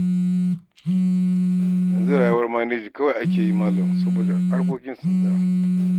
Yanzu rayuwar maneji kawai ake yi malam saboda harkokin sun tsaya.